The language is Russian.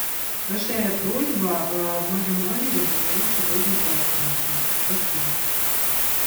большая просьба в моем номере заменить сегодня полотенца спасибо